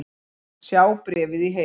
Sjá bréfið í heild